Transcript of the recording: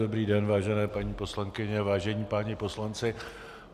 Dobrý den, vážené paní poslankyně, vážení páni poslanci.